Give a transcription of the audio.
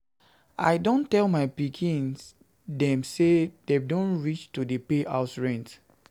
I don tell my pikin dem sey dem don reach reach to dey pay house rent.